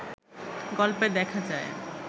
গল্পে দেখা যায়